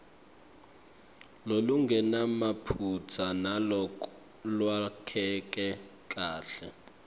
lolungenamaphutsa nalolwakheke kahle